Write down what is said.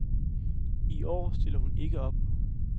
I år stiller hun ikke op.